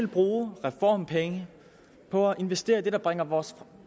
bruge reformpenge på at investere i det der bringer vores